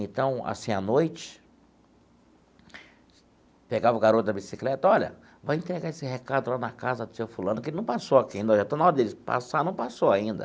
Então, assim, à noite, pegava o garoto na bicicleta, olha, vai entregar esse recado lá na casa do seu fulano, que ele não passou aqui ainda, já está na hora dele passar, não passou ainda.